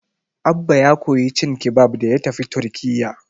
Abba ya koyi cin kibab da ya tafi Turkiyya.